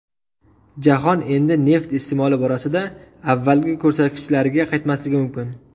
Jahon endi neft iste’moli borasida avvalgi ko‘rsatkichlarga qaytmasligi mumkin.